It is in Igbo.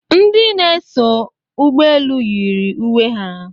Ndị na-eso ụgbọelu yiri uwe ha